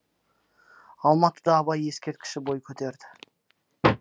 алматыда абай ескерткіші бой көтерді